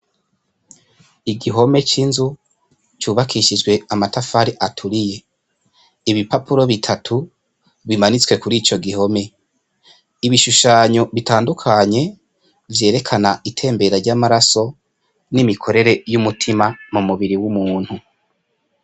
Igihome c'inzu cubakishijwe amatafari aturiye ibipapuro bitatu bimanitswe kuri ico gihome ibishushanyo bitandukanye vyerekana itembera ry' amaraso n' imikorere y' umutima mu mubiri w' umuntu.